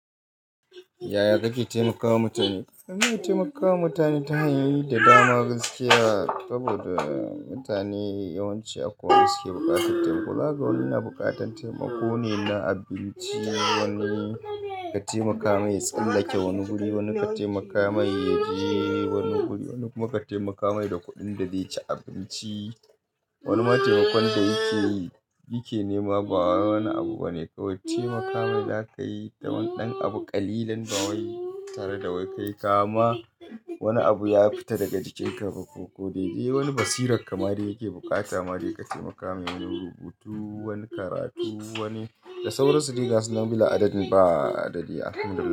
Yaya kake taimakawa mutane? Ina taimakawa mutane ta hanyoyi da dama gaskiya saboda mutane yawanci akwai wadanda suke buƙatar taimako, zaka ga wani na buƙatar taimako ne na abinci, wani ka taimaka mai ya tsallake wani guri, wani ka taimaka mai ya je wani guri, wani kuma ka taimaka mai da kuɗin da zai ci abinci. Wani ma taimakon da yake yi ke nema ba wani abu bane kawai taimakawa zaka yi da waɗansu abu ƙalilan da wai tare da wai kai kama wani abu ya fita daga jikinka ba ko wani basirar ka ma dai yake buƙata ma dai ka taimaka mai wani rubutu, wani karatu wani da sauran su dai gasu nan bi la'adadin ba adadi alhamdulillah.